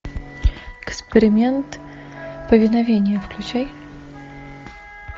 эксперимент повиновения включай